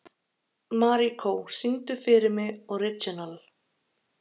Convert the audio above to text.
Maríkó, syngdu fyrir mig „Orginal“.